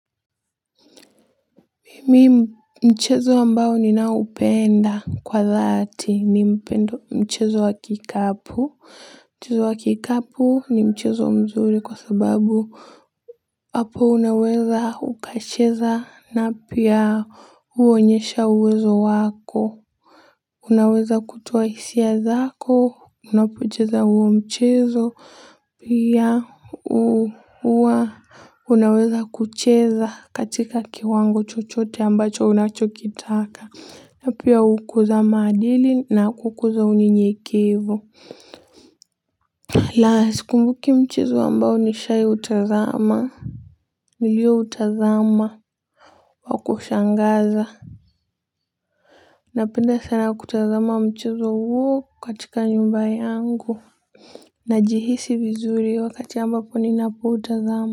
Mimi, mchezo ambao ninaupenda kwa dhati ni mchezo wa kikapu. Mchezo wa kikapu ni mchezo mzuri kwa sababu hapo unaweza kucheza na pia uonyeshe uwezo wako. Unaweza kutoa hisia zako unapocheza huo mchezo, pia huwa unaweza kucheza katika kiwango chochote ambacho unachokitaka, na pia hukuza maadili na hukuza unyenyekevu. La, sikumbuki mchezo ambao nishawahi kutazama uliokuwa wa kushangaza. Napenda sana kutazama mchezo huo katika nyumba yangu. Najihisi vizuri wakati ambapo ninapoutazama.